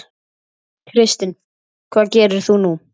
Kristinn: Hvað gerir þú nú?